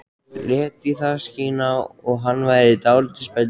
Lét í það skína að hann væri dálítið spældur.